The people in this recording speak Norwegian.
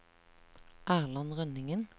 Erland Rønningen